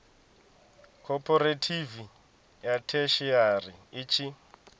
khophorethivi ya theshiari i tshi